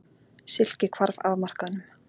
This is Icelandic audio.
Silki hvarf af markaðnum.